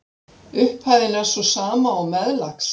Upphæðin er sú sama og meðlags